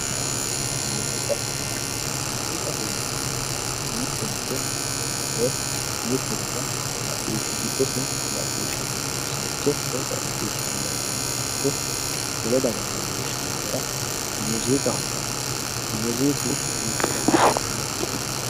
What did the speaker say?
muuziiqa muuziiqaho yinannihu mittoricho woy mitte daga giddose macciishshamannosericho woy caacceessamannosericho wole dagara leellishshanno gara muuziiqaho yinanni muuziiqu...